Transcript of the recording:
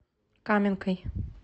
каменкой